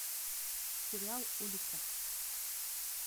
сериал улица